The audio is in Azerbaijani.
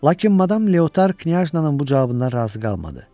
Lakin madam Leotar knyajnanın bu cavabından razı qalmadı.